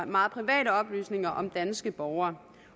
meget private oplysninger om danske borgere